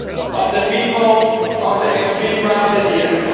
of the people of the extreme right at the end.